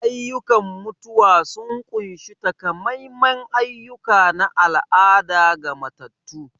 Ayyukan mutuwa sun ƙunshi takamaiman ayyuka na al'ada ga matattu.